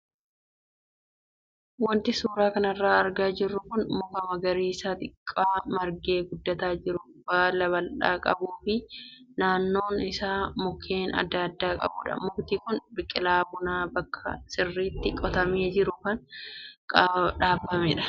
Wanti suuraa kanarraa argaa jirru kun muka magariisa xiqqaa margee guddataa jiru baala bal'aa qabuu fi naannoon isaa mukkeen adda addaa qabudha. Mukti kun biqilaa buna bakka sirriitti qotamee jiru kan dhaabamedha.